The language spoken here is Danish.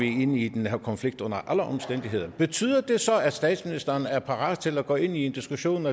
ind i den her konflikt under alle omstændigheder betyder det så at statsministeren er parat til at gå ind i en diskussion